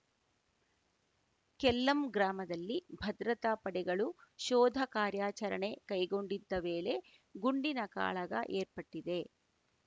ಕೆಲ್ಲಂ ಗ್ರಾಮದಲ್ಲಿ ಭದ್ರತಾ ಪಡೆಗಳು ಶೋಧ ಕಾರ್ಯಾಚರಣೆ ಕೈಗೊಂಡಿದ್ದ ವೇಳೆ ಗುಂಡಿನ ಕಾಳಗ ಏರ್ಪಟ್ಟಿದೆ